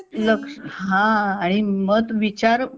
लक्ष हा आणि मत विचार